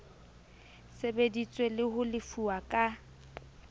sebeditswe le ho lefuwa ka